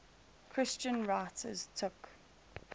christian writers took